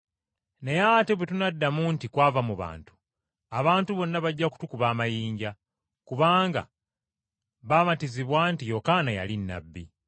Naye ate bwe tunaddamu nti, ‘Kwava mu bantu,’ abantu bonna bajja kutukuba amayinja, kubanga bamatizibwa nti Yokaana yali nnabbi.”